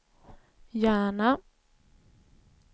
Järna